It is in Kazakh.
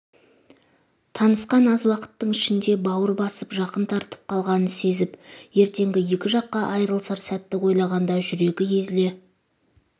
танысқан аз уақыттың ішінде бауыр басып жақын тартылып қалғанын сезіп ертеңгі екі жаққа айырылысар сәтті ойлағанда жүрегі езіле